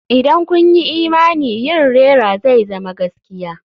Idan kun yi imani yin rera zai zama gaskiya.